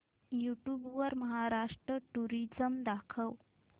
YouTube वर Maharashtra tourism दाखव